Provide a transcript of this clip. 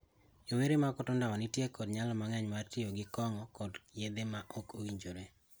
Rowere ma koto ndawa nitie kod nyalo mang'eny mar tiyo gi kong'o kod yedhe ma ok owinjore.